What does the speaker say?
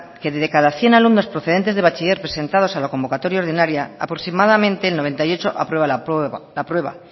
que de cada cien alumnos procedente de bachiller presentados a la convocatoria ordinaria aproximadamente el noventa y ocho aprueba la prueba